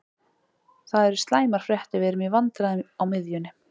Það eru slæmar fréttir, við erum í vandræðum á miðjunni.